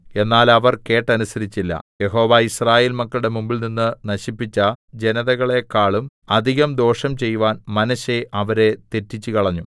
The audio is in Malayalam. എന്നാൽ അവർ കേട്ടനുസരിച്ചില്ല യഹോവ യിസ്രായേൽ മക്കളുടെ മുമ്പിൽനിന്ന് നശിപ്പിച്ച ജനതകളെക്കാളും അധികം ദോഷം ചെയ്‌വാൻ മനശ്ശെ അവരെ തെറ്റിച്ചുകളഞ്ഞു